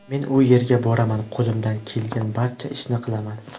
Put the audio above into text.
Men u yerga boraman, qo‘limdan kelgan barcha ishni qilaman.